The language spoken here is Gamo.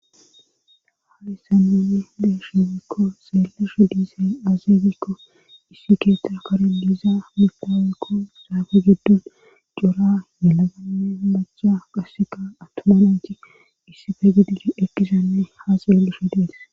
Hayisan nunni deesheebikko xeellesho diise aazeebikko issi keeththa kare liizaa mipaawekko saafe giddon cora nelabanne macha qaseka attoma lanchi issife gidi ekkisanne ha xeelleshe dees